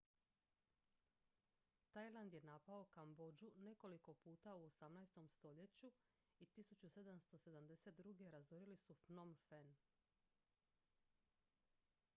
tajland je napao kambodžu nekoliko puta u 18. stoljeću i 1772. razorili su phnom phen